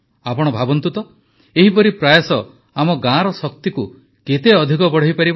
ଆପଣ ଭାବନ୍ତୁ ଏହିପରି ପ୍ରୟାସ ଆମ ଗାଁର ଶକ୍ତିକୁ କେତେ ଅଧିକ ବଢ଼ାଇପାରିବ